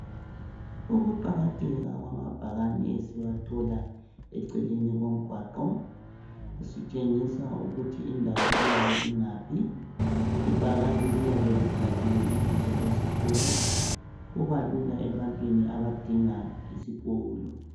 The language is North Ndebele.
Ukuqakatheka kwamabhakane esiwathola eceleni komgwaqo sitshengisa ukuthi indawo iyabe ingaphi ibhakane liyabe libhaliwe ibizo lesikolo kuba lula ebantwini abadinga isikolo.